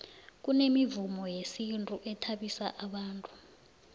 kunemivumo yesintu ethabisa bantu